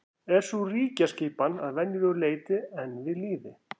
er sú ríkjaskipan að verulegu leyti enn við lýði